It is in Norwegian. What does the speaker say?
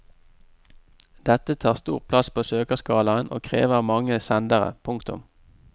Dette tar stor plass på søkerskalaen og krever mange sendere. punktum